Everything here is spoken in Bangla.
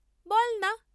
বল্‌না?